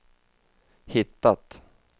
hittat